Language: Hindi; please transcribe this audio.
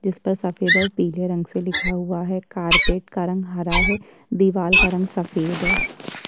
जिस पर सफेद और पीले रंग से लिखा हुआ है कारपेट का रंग हरा है दिवार का रंग सफेद है।